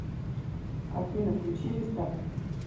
афина включи рестарт